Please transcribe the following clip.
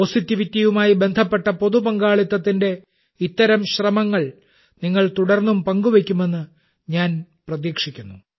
പോസിറ്റീവിറ്റിയുമായി ബന്ധപ്പെട്ട പൊതു പങ്കാളിത്തത്തിന്റെ ഇത്തരം ശ്രമങ്ങൾ നിങ്ങൾ തുടർന്നും പങ്കുവെയ്ക്കുമെന്ന് ഞാൻ പ്രതീക്ഷിക്കുന്നു